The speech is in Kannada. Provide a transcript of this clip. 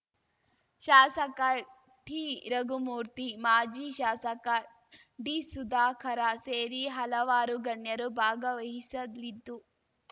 ಶಾಸಕ ಟಿರಘುಮೂರ್ತಿ ಮಾಜಿ ಶಾಸಕ ಡಿಸುಧಾಕರ ಸೇರಿ ಹಲವಾರು ಗಣ್ಯರು ಭಾಗವಹಿಸಲಿದ್ದು